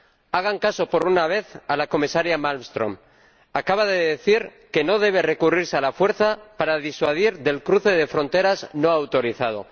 Hagan caso, por una vez, a la comisaria Malmström acaba de decir que no debe recurrirse a la fuerza para disuadir del cruce de fronteras no autorizado.